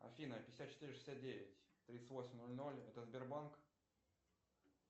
афина пятьдесят четыре шестьдесят девять тридцать восемь ноль ноль это сбербанк